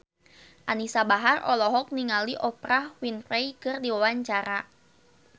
Anisa Bahar olohok ningali Oprah Winfrey keur diwawancara